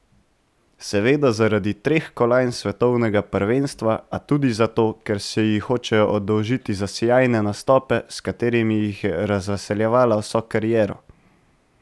Seveda zaradi treh kolajn s svetovnega prvenstva, a tudi zato, ker se ji hočejo oddolžiti za sijajne nastope, s katerimi jih je razveseljevala vso kariero.